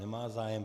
Nemá zájem.